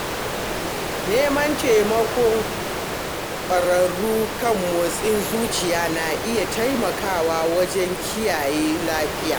Neman taimakon ƙwararru kan motsin zuciya na iya taimakawa wajen kiyaye lafiya.